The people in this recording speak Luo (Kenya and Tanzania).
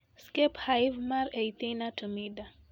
Skep Hive mar Aethina tumida: